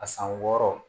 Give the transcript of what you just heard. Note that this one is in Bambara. A san wɔɔrɔ